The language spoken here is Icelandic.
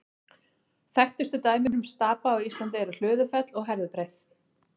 Þekktustu dæmin um stapa á Íslandi eru Hlöðufell og Herðubreið.